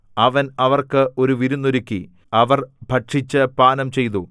അവൻ അവർക്ക് ഒരു വിരുന്നൊരുക്കി അവർ ഭക്ഷിച്ചു പാനംചെയ്തു